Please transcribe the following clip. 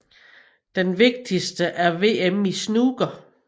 Den vigtigste er VM i snooker